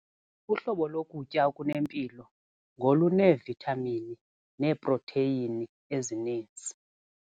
Uhlobo lokutya okunempilo ngoluneevithamini neeprotheyini ezininzi.